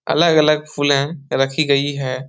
अलग-अलग फूले रखी गई है।